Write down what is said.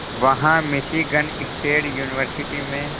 वहां Michigan State University में